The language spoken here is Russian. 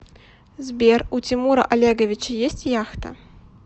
сбер у тимура олеговича есть яхта